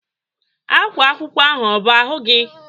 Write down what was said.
Ákwá akwụkwọ ahụ ọ bụ ahụ gị?